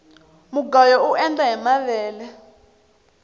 mugayo uendla hi mavele